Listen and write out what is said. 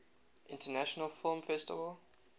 international film festival